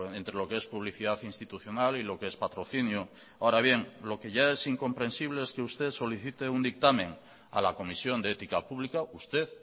entre lo que es publicidad institucional y lo que es patrocinio ahora bien lo que ya es incomprensible es que usted solicite un dictamen a la comisión de ética pública usted